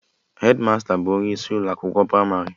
Hedmasta bụ onye isi Ụlọ akwụkwọ pramarị